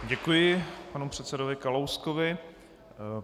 Děkuji panu předsedovi Kalouskovi.